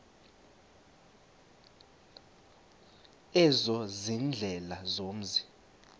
ezo ziindlela zomzi